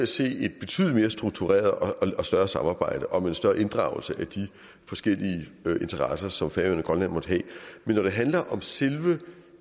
se et betydelig mere struktureret og større samarbejde og med en større inddragelse af de forskellige interesser som færøerne og grønland måtte have men når det handler om selve